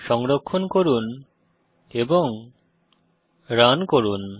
সংরক্ষণ করে রান করুন